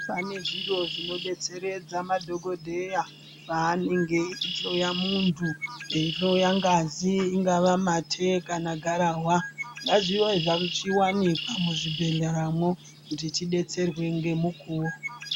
Pane zviro zvinodetseredza madhogodeya paanenge eyihloya muntu eyihloya ngazi ,ingava mate, kana gararwa ngazvivezvamuchiwanikwa muzvibhedleramo kutitidetserwe memukuwo.